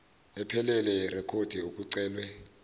ephelele yerekhodi okucelwe